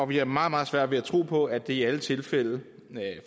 vi har meget meget svært ved at tro på at det i alle tilfælde